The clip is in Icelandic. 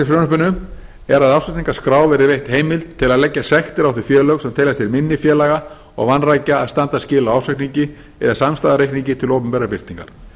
frumvarpinu er að ársreikningaskrá verði veitt heimild til að leggja sektir á félög sem teljast til minni félaga og vanrækja að standa skil á ársreikningi eða samstæðureikningi til opinberrar birtingar